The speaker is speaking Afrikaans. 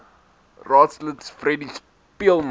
raadslid freddie speelman